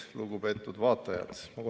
Lugupeetud vaatajad!